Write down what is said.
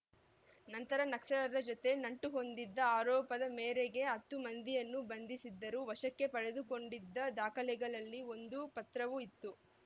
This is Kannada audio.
ನಂತರ ನಕ್ಸಲರ ಜತೆ ನಂಟು ಹೊಂದಿದ ಆರೋಪದ ಮೇರೆಗೆ ಹತ್ತು ಮಂದಿಯನ್ನು ಬಂಧಿಸಿದ್ದರು ವಶಕ್ಕೆ ಪಡೆದುಕೊಂಡಿದ್ದ ದಾಖಲೆಗಳಲ್ಲಿ ಒಂದು ಪತ್ರವೂ ಇತ್ತು